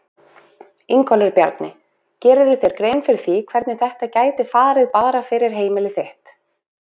Ingólfur Bjarni: Gerirðu þér grein fyrir því hvernig þetta gæti farið bara fyrir heimili þitt?